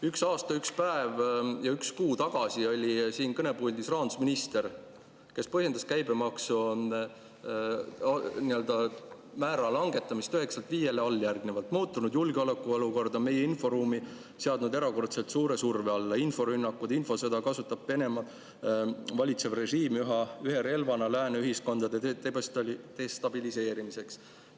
Üks aasta, üks päev ja üks kuu tagasi oli siin kõnepuldis rahandusminister, kes põhjendas käibemaksumäära langetamist 9%‑lt 5%‑le alljärgnevalt: muutunud julgeolekuolukord on meie inforuumi seadnud erakordselt suure surve alla ning inforünnakuid, infosõda kasutab Venemaa valitsev režiim ühe relvana lääne ühiskondade destabiliseerimiseks.